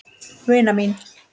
Vina mín!